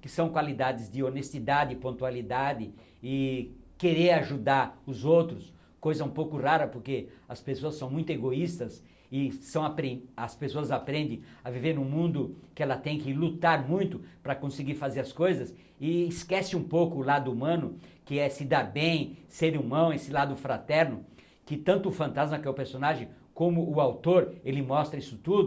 que são qualidades de honestidade, pontualidade e querer ajudar os outros, coisa um pouco rara porque as pessoas são muito egoístas e são apre as pessoas aprendem a viver em um mundo que ela tem que lutar muito para conseguir fazer as coisas e esquece um pouco o lado humano, que é se dar bem, ser humano, esse lado fraterno, que tanto o fantasma, que é o personagem, como o autor, ele mostra isso tudo,